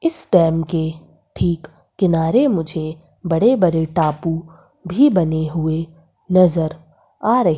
इस डैम के ठीक किनारे मुझे बड़े बड़े टापू भी बने हुए नजर आ रहे--